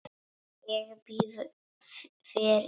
Ég býð þér í bíó.